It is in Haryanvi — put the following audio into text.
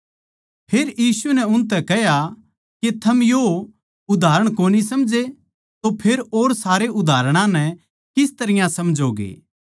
फेर यीशु नै उनतै कह्या के थम यो उदाहरण कोनी समझे तो फेर और सारे उदाहरणां नै किस तरियां समझोगे